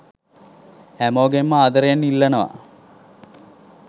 හැමෝගෙන්ම ආදරයෙන් ඉල්ලනව.